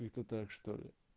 это так что ли